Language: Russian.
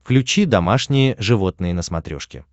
включи домашние животные на смотрешке